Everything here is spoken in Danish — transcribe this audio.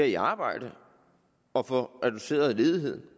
i arbejde og får reduceret ledigheden